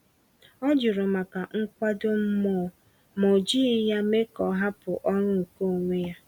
Ọ jụrụ maka nkwado mmụọ, ma o jighị ya mee ka ọ hapụ ọrụ nke onwe ya.